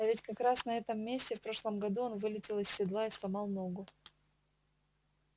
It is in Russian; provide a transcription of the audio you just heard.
а ведь как раз на этом месте в прошлом году он вылетел из седла и сломал ногу